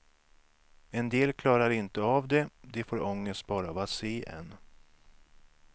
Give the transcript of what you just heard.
En del klarar inte av det, de får ångest bara av att se en.